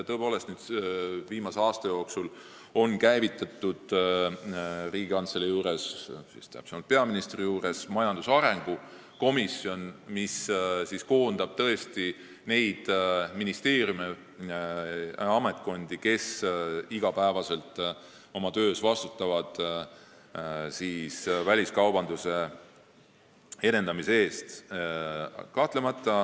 Viimase aasta jooksul ongi Riigikantselei, täpsemalt peaministri juurde loodud majandusarengu komisjon, mis tõesti koondab neid ministeeriume ehk ametkondi, kes iga päev oma töös vastutavad väliskaubanduse edendamise eest.